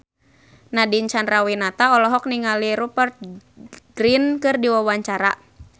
Nadine Chandrawinata olohok ningali Rupert Grin keur diwawancara